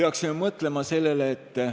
Kolm minutit lisaaega.